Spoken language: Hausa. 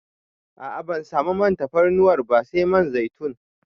A a ban samu man tafarnuwar ba sai man zaitun.